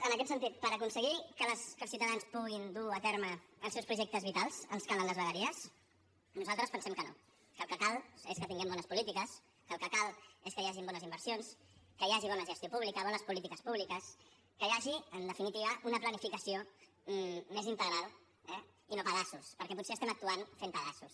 en aquest sentit per aconseguir que els ciutadans puguin dur a terme els seus projectes vitals ens calen les vegueries nosaltres pensem que no que el que cal és que tinguem bones polítiques que el que cal és que hi hagin bones inversions que hi hagi bona gestió pública bones polítiques públiques que hi hagi en definitiva una planificació més integral eh i no pedaços perquè potser estem actuant fent pedaços